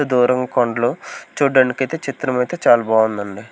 దూరం కొండలు చూడ్డనికైతే చిత్రం అయితే చాలా బాగుందండి.